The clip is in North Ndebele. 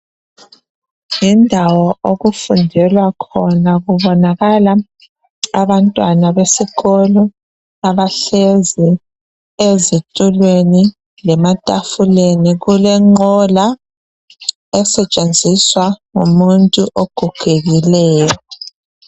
Yindawo okufundelwa khona kubonakala abantwana besikolo abahlezi ezitulweni lematafuleni kodwa kulenqola esetshenziswa ngumuntu ogogekileyo.